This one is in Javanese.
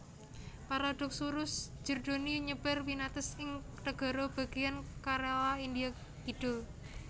Paradoxurus jerdoni nyebar winates ing negara bagéyan Kerala India kidul